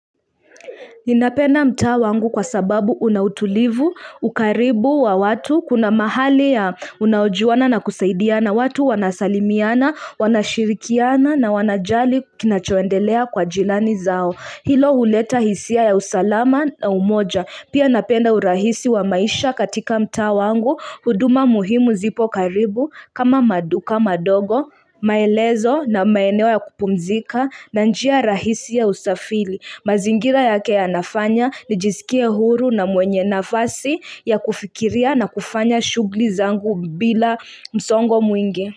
Ninapenda mtaa wangu kwa sababu una utulivu, ukaribu wa watu, kuna mahali ya unaojuana na kusaidiana watu wanasalimiana, wanashirikiana na wanajali kinachoendelea kwa jirani zao. Hilo huleta hisia ya usalama na umoja. Pia napenda urahisi wa maisha katika mtaa wangu, huduma muhimu zipo karibu, kama maduka madogo, maelezo na maeneo ya kupumzika na njia rahisi ya usafiri. Mazingira yake yanafanya nijisikie huru na mwenye nafasi ya kufikiria na kufanya shughuli zangu bila msongo mwingi.